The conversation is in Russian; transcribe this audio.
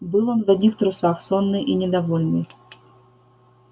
был он в одних трусах сонный и недовольный